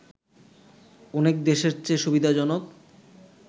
অনেক দেশের চেয়ে সুবিধাজনক